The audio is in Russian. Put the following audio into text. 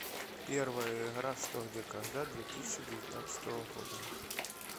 первая игра что где когда две тысячи девятнадцатого года